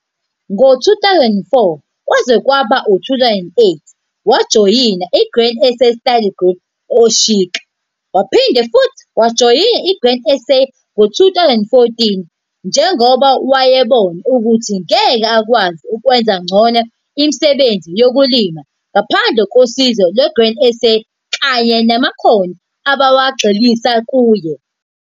Ngo-2004 kwaze kwaba u-2008 wajoyina i-Grain SA study group e-Oshoek. Waphinde futhi wayijoyina iGrain SA ngo-2014 njengoba wayebona ukuthi ngeke akwazi ukwenza ngcono imisebenzi yokulima ngaphandle kosizo lwe-Grain SA kanye namakhono abawagxilisa kuye.